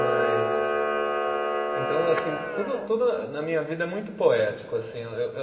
Mas. Então, assim, tudo tudo na na minha vida é muito poético, assim.